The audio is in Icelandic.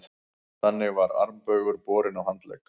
Þannig var armbaugur borinn á handlegg.